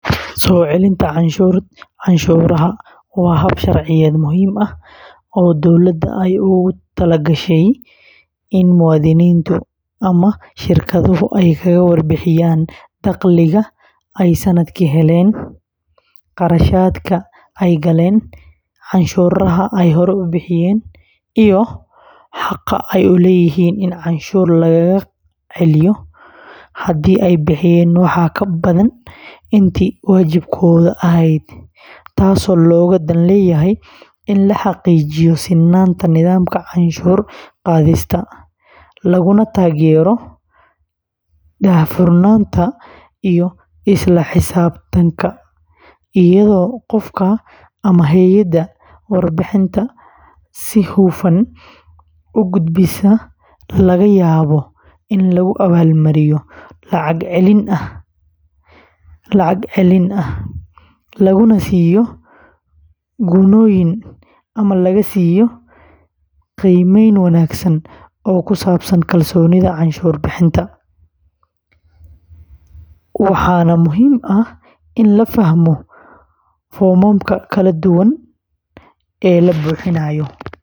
Soo celinta canshuuraha waa hab sharciyeed muhiim ah oo dowladda ay ugu talagashay in muwaadiniintu ama shirkaduhu ay kaga warbixiyaan dakhliga ay sannadkii heleen, kharashaadka ay galeen, canshuuraha ay hore u bixiyeen, iyo xaqa ay u leeyihiin in canshuur lagaga celiyo haddii ay bixiyeen wax ka badan intii waajibkooda ahayd, taasoo looga dan leeyahay in la xaqiijiyo sinnaanta nidaamka canshuur qaadista, laguna taageero daahfurnaanta iyo isla xisaabtanka, iyadoo qofka ama hay’adda warbixinta si hufan u gudbisa laga yaabo in lagu abaalmariyo lacag celin ah, laguna siiyo gunnooyin ama laga siiyo qiimayn wanaagsan oo ku saabsan kalsoonida canshuur bixinta, waxaana muhiim ah in la fahmo foomamka kala duwan ee loo buuxiyo.